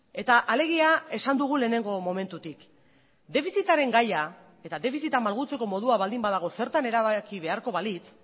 eta alegia esan dugu lehenengo momentutik defizitaren gaia eta defizita malgutzeko modua baldin badago zertan erabaki beharko balitz